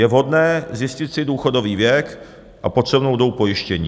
Je vhodné zjistit si důchodový věk a potřebnou dobu pojištění.